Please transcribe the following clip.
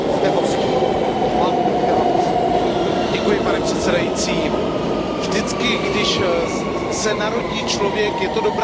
Pane předsedající, vždycky když se narodí člověk, je to dobrá zpráva od Boha, že jsme ho ještě nepřestali bavit.